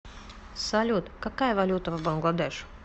салют какая валюта в бангладеш